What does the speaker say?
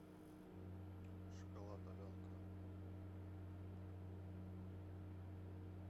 шоколад аленка